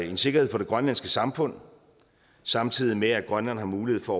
en sikkerhed for det grønlandske samfund samtidig med at grønland har mulighed for